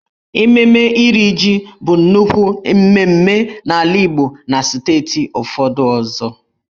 Ememme Iri jì bụ nnukwu mmemme n'ala Igbo na steeti ụfọdụ ọzọ.